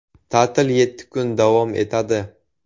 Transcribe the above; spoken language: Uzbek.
Ta’til yetti kun davom etadi.